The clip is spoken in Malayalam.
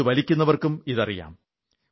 ഇത് വില്ക്കുന്നവർക്കും ഇതറിയാം